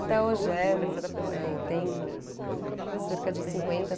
Até hoje é hm, eh, tem cerca de cinquenta